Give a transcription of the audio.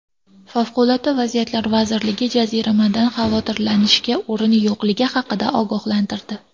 Favqulodda vaziyatlar vazirligi jaziramadan xavotirlanishga o‘rin yo‘qligi haqida ogohlantirdi .